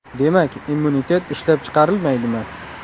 Demak, immunitet ishlab chiqarilmaydimi?